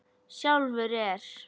Sjálfur er